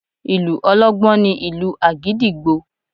Ìlù ọlọ́gbọ́n ni ìlù àgídìgbo